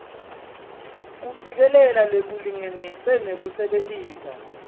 kucikelela lokulingene nekusebentisa